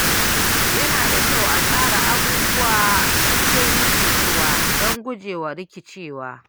Yana da kyau a tsara abubuwa cikin nutsuwa don gujewa rikicewa.